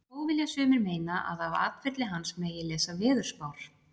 Þó vilja sumir meina að af atferli hans megi lesa veðurspár.